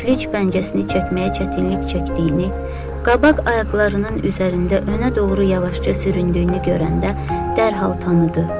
İflic pəncəsini çəkməyə çətinlik çəkdiyini, qabaq ayaqlarının üzərində önə doğru yavaşca süründüyünü görəndə dərhal tanıdı.